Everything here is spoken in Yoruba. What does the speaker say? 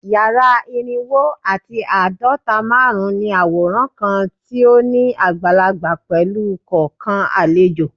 Yara irinwo ati aadọta -marun ní aworan kan ti o ni agbalagba pẹlu kọọkan alejo